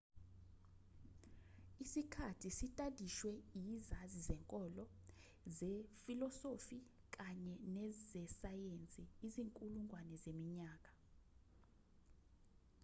isikhathi sitadishwe izazi zenkolo zefilosofi kanye nezesayensi izinkulungwane zeminyaka